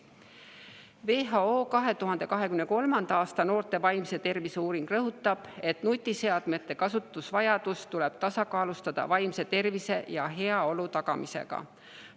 WHO 2023. aasta noorte vaimse tervise uuring rõhutab, et nutiseadmete kasutamise vajadus tuleb tasakaalustada vaimse tervise ja heaolu tagamisega.